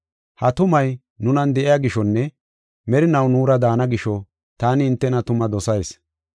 Ha tumay nunan de7iya gishonne merinaw nuura daana gisho taani hintena tuma dosayis.